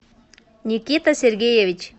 никита сергеевич